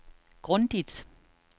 grundigt